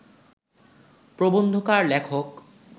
প্রবন্ধকার লেখক